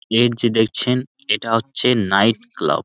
এর যে দেখছেন এটা হচ্ছে নাইট ক্লাব ।